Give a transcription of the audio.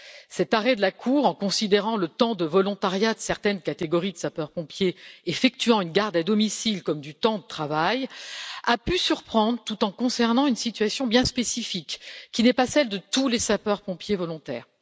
Cet arrêt de la Cour, en considérant le temps de volontariat de certaines catégories de sapeurs pompiers effectuant une garde à domicile comme du temps de travail, a pu surprendre tout en concernant une situation bien spécifique, qui n'est pas celle de tous les sapeurs pompiers volontaires.